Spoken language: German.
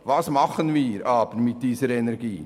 Was machen wir aber mit dieser Energie?